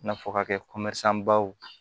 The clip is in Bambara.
I n'a fɔ ka kɛ baw ye